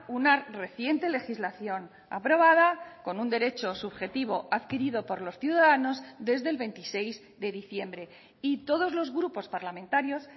una reciente legislación aprobada con un derecho subjetivo adquirido por los ciudadanos desde el veintiséis de diciembre y todos los grupos parlamentarios